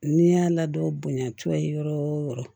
N'i y'a ladon bonya cogo ye yɔrɔ o yɔrɔ